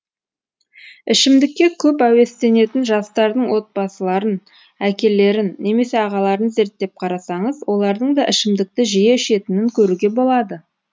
ішімдікке көп әуестенетін жастардың отбасыларын әкелерін немесе ағаларын зерттеп қарасаңыз олардың да ішімдікті жиі ішетінін көруге болады